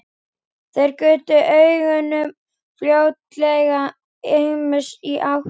Þeir gutu augunum flóttalega ýmist í átt til